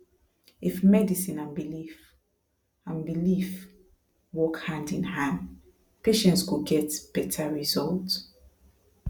if medicine and belief and belief work hand in hand patients go get better result